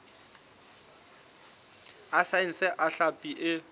a saense a hlapi e